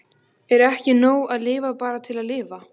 Er ekki nóg að lifa bara til að lifa?